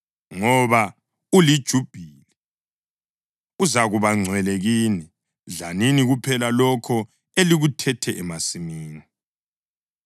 Ngoba uliJubhili, uzakuba ngcwele kini; dlanini kuphela lokho elikuthethe emasimini.